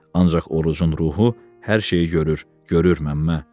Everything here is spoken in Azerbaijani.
Ancaq Orucun ruhu hər şeyi görür, görür Məmmə.